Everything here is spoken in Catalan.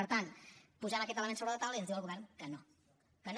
per tant posem aquest element sobre la taula i ens diu el govern que no que no